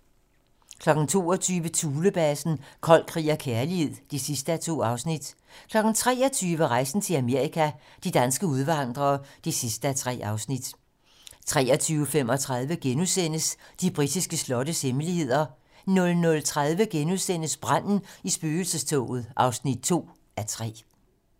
22:00: Thulebasen - Kold krig og kærlighed (2:2) 23:00: Rejsen til Amerika - de danske udvandrere (3:3) 23:35: De britiske slottes hemmeligheder * 00:30: Branden i spøgelsestoget (2:3)*